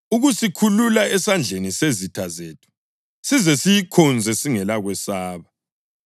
ukusikhulula esandleni sezitha zethu, size siyikhonze singelakwesaba